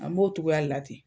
An b'o togoya de la ten